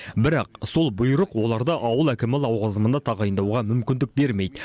бірақ сол бұйрық оларды ауыл әкімі лауазымына тағайындауға мүмкіндік бермейді